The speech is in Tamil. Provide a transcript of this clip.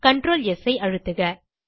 CTRL ஸ் ஐ அழுத்துக